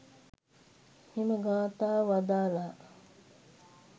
මෙම ගාථාව වදාළා.